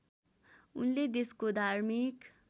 उनले देशको धार्मिक